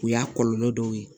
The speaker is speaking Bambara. O y'a kɔlɔlɔ dɔw ye